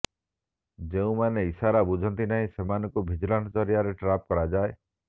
ଯେଉଁମାନେ ଇସାରା ବୁଝନ୍ତି ନାହିଁ ସେମାନଙ୍କୁ ଭିଜିଲାନ୍ସ ଜରିଆରେ ଟ୍ରାପ୍ କରାଯାଏ